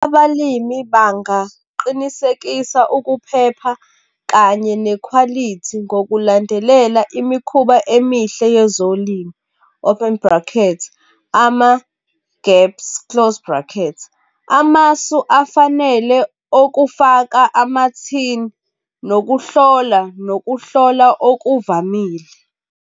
Abalimi bangaqinisekisa ukuphepha kanye nekhwalithi, ngokulandelela imikhuba emihle yezolimo, open bracket, ama-gaps, close bracket. Amasu afanele okufaka amathini nokuhlola, nokuhlola okuvamile.